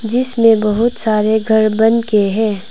जिसमें बहोत सारे घर बन के हैं।